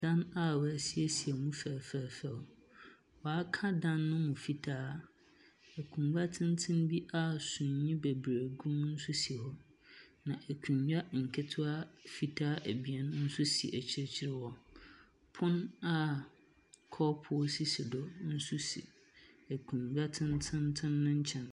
Ɛdan a wɔasiesie mu fɛfɛɛfɛ. Wɔaka no mu fitaa. Akonnwa tenten a sumii bebree gu mu nso gu mu bi. Akonnwa nketsewaa mfitaa abien nso si akirkyir hɔ. Pon a kɔpoo sisi nso akunnwa tsentsen tsen no nkyɛn.